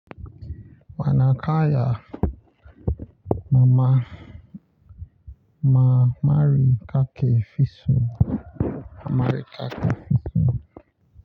Wana kaya mama ma mari kake fisu.